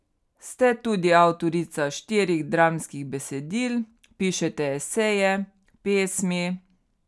Ste tudi avtorica štirih dramskih besedil, pišete eseje, pesmi.